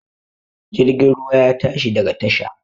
Jirgin ruwa ya tashi daga tasha